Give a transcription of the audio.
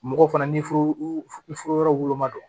Mɔgɔw fana n'i furu yɔrɔ woloma don